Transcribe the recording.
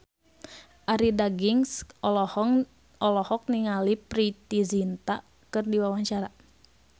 Arie Daginks olohok ningali Preity Zinta keur diwawancara